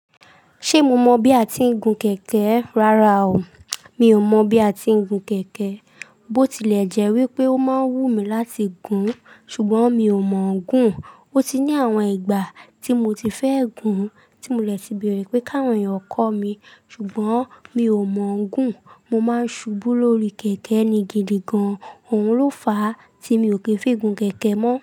Ṣe mo mọ bi a ti ń gun kẹ̀kẹ́? Rara o, mi ò mọ bi a ti ń gun kẹ̀kẹ́. Botilẹjẹ wípé o máa ń wúmi láti gùn, ṣugbọn mi ò mọ gùn. O ti ní àwọn ìgbà tí mo ti fẹ́ gùn, tí mo dẹ ti bẹ̀rẹ̀ wípé káwọn èyàn kọ́ mi, ṣugbọn mi ò mọ gùn. Mo máa ń ṣubú lórí kẹ̀kẹ́ ni gidigán, òun ló fàá tí mi ò kí ń fi gùn kẹ̀kẹ́ mọ́